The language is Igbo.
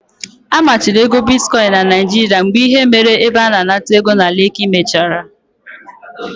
A machiri ego bitkoin na Naijiria mgbe ihe mere n'ebe a na-anata ego na Leki mechara.